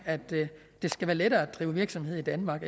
at det skal være lettere at drive virksomhed i danmark